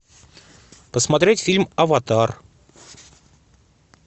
посмотреть фильм аватар